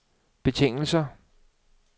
betingelse